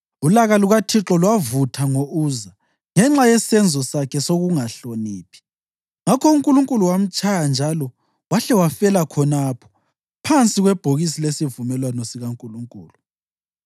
Ulaka lukaThixo lwavutha ngo-Uza ngenxa yesenzo sakhe sokungahloniphi, ngakho uNkulunkulu wamtshaya njalo wahle wafela khonapho phansi kwebhokisi lesivumelwano sikaNkulunkulu.